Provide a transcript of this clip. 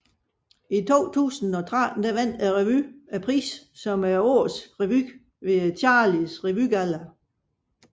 I 2013 vandt revyen prisen som Årets Revy ved Charlies Revygalla